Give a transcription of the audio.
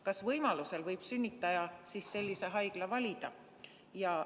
Kas võimalusel võib sünnitaja siis sellise haigla valida?